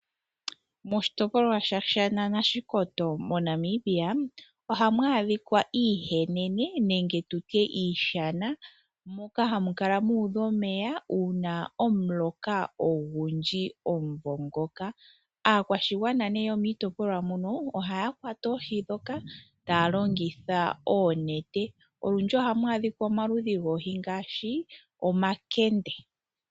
Moshitopolwa shOshana nOshikoto moNamibia ohamu adhika iihenene nenge iishana moka hamu kala mu udha omeya uuna omuloka ogundji omumvo ngoka. Aakwashigwana yomiitopolwa mono ohaya kwata oohi ndhoka taya longitha oonete. Olundji ohamu adhika omaludhi goohi ngaashi omakende.